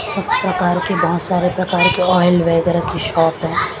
इस प्रकार के बहुत सारे प्रकार के ऑयल वगैरह की शॉप है।